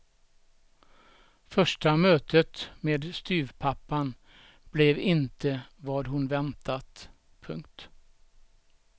Första mötet med styvpappan blev inte vad hon väntat. punkt